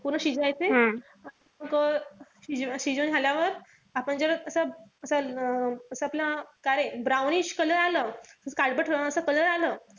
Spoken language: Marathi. पूर्ण शिजायचे. शिजून झाल्यावर आपण जेव्हा असं आपलं काळे brownish color आलं कि काळपट थोडासा color आलं,